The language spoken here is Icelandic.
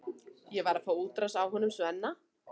Ég var að fá útrás á honum Svenna.